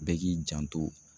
Bɛɛ k'i janto